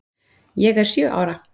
Ég er sjö ára.